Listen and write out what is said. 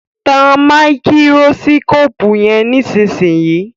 Tán Máíkírósíkópù yén nísìsiyìí!